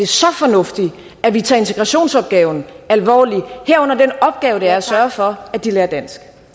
så fornuftigt at vi tager integrationsopgaven alvorligt herunder den opgave det er at sørge for at de lærer dansk